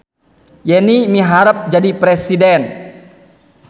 Yeni miharep jadi presiden